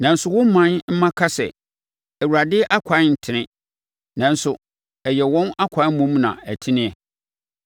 “Nanso wo ɔman mma ka sɛ, ‘ Awurade akwan ntene.’ Nanso ɛyɛ wɔn akwan mmom na ɛnteneɛ.